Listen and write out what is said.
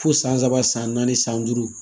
Fo san saba san naani san duuru